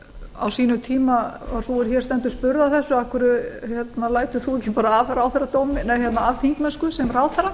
á sínum tíma var sú er hér stendur spurð að þessu af hverju lætur þú ekki bara af þingmennsku sem ráðherra